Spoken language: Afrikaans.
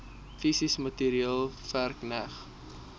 fisies materieel verkneg